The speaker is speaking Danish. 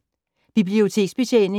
Biblioteksbetjening